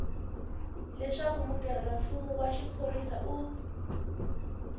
leswaku mutirhelamfumo wa xiphorisa u